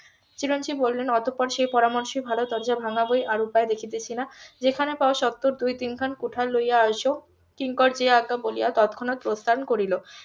চিরঞ্জিব বলিলেন অতঃপর সেই পরামর্শই ভালো দরজা ভাঙা বই আর উপায় দেখিতেছি না যেখানে পাও সত্তর দুই তিন খান কুঠার লইয়া আসো কিঙ্কর জি আজ্ঞা বলিয়া তৎক্ষণাৎ প্রস্থান করিল